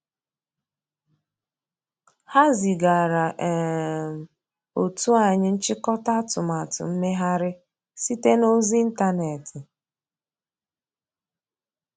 Ha zigara um otu anyị nchịkọta atụmatụ mmeghari site na ozi ịntanetị.